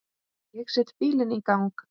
Ég set bílinn í gang.